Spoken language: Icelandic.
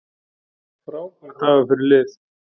Frábær dagur fyrir lið